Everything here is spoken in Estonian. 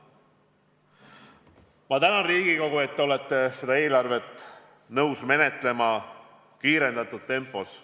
Ma tänan Riigikogu, et olete nõus seda eelarvet menetlema kiirendatud tempos.